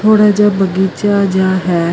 ਥੋੜਾ ਜਯਾ ਬਗੀਚਾ ਜੇਹਾ ਹੈ।